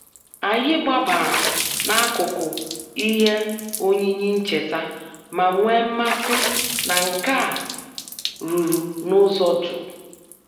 Anyị gbabara n'akụkụ ihe oyiyi ncheta ma nwee mmasị na nka a rụrụ n'ụzọ jụụ.